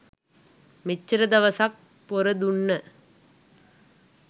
මෙච්චර දවසක් පොර දුන්න